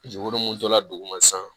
Jegun minnu tora duguma sisan